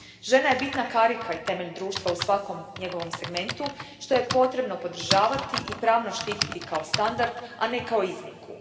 Žena je bitna karika i temelj društva u svakom njegovom segmentu što je potrebno podržavati i pravno štititi kao standard, a ne kao iznimku.